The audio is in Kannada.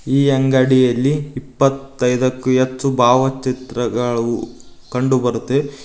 ಈ ಅಂಗಡಿಯಲ್ಲಿ ಇಪತ್ತೈದಕ್ಕು ಹೆಚ್ಚು ಭಾವಚಿತ್ರಗಳು ಕಂಡು ಬರುತ್ತೆ ಇ--